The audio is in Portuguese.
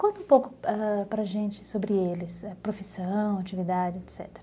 Conta um pouco ãh para a gente sobre eles, profissão, atividade, etecetera.